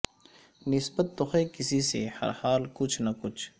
نسبت تو ہے کسی سے ہر حال کچھ نہ کچھ